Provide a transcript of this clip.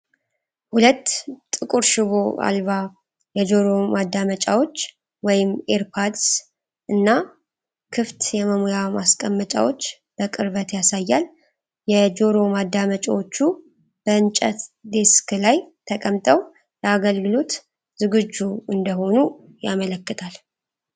ሁለት ጥቁር ሽቦ አልባ የጆሮ ማዳመጫዎች (earbuds) እና ክፍት የመሙያ ማስቀመጫቸው በቅርበት ያሳያል። የጆሮ ማዳመጫዎቹ በእንጨት ዴስክ ላይ ተቀምጠው ለአገልግሎት ዝግጁ እንደሆኑ ያመለክታሉ።